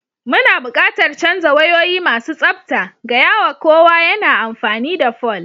Muna buƙatar canza wayoyi masu tsabta, gaya wa kowa yana amfani da fol.